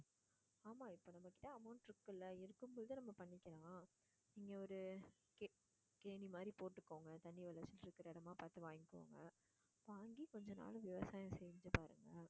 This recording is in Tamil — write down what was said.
ஆமாம் இப்போ நம்ம கிட்ட amount இருக்குல்ல இருக்கும் போதே நம்௳ பண்ணிக்கலாம். இங்க ஒரு கே~ கேணி மாதிரி போட்டுக்கோங்க தண்ணி விளைஞ்சிட்டு இருக்குற இடமா பார்த்து வாங்கிக்கோங்க வாங்கி கொஞ்சம் நாளு விவசாயம் செஞ்சு பாருங்க